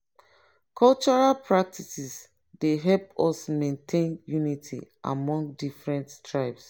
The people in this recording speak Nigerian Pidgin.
cultural practices dey help us maintain unity among different tribes.